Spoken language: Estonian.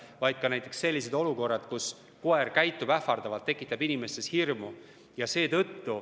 Peame silmas ka selliseid olukordi, kus koer käitub ähvardavalt, tekitab inimestes hirmu.